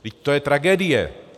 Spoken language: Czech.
Vždyť to je tragédie.